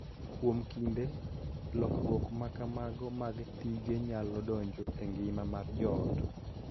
Kuom kinde, lokruok ma kamago mag tije nyalo donjo e ngima mar joot,